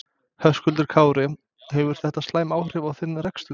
Höskuldur Kári: Hefur þetta slæm áhrif á þinn rekstur?